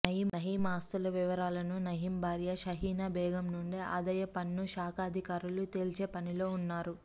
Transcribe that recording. నయీమ్ ఆస్తుల వివరాలను నయీమ్ భార్య హసీనా బేగం నుండి ఆదాయ పన్ను శాఖాధికారులు తేల్చే పనిలో ఉన్నారు